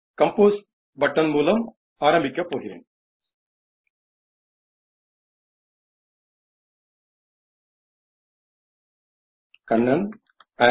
compose button મૂલમ અરંબીકપ પોગીરેન kannaniitbacin